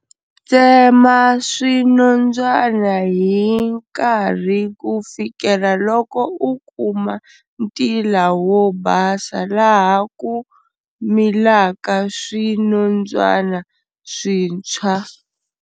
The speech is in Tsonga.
Tsema swinondzwana hi nkarhi ku fikela loko u kuma ntila wo basa laha ku milaka swinondzwana swintshwa.